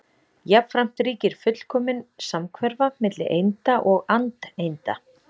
Jafnframt ríkir fullkomin samhverfa milli einda og andeinda.